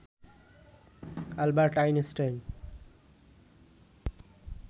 Albert Einstein